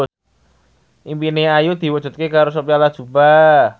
impine Ayu diwujudke karo Sophia Latjuba